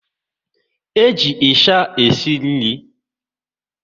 E ji ịsha esi nri